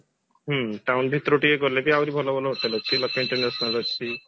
ହୁଁ town ଭିତରକୁ ଟିକେ ଗଲେ ବି ଆହୁରି ଭଲ ଭଲ ହୋଟେଲ ଅଛି ବାକି international ଅଛି